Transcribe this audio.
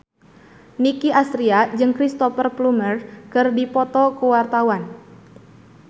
Nicky Astria jeung Cristhoper Plumer keur dipoto ku wartawan